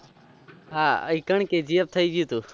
હા KGF થયી ગયું થું.